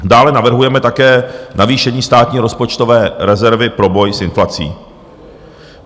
Dále navrhujeme také navýšení státní rozpočtové rezervy pro boj s inflací.